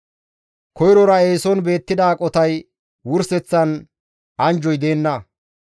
Koyrora eeson beettida aqotas wurseththan anjjoy deenna.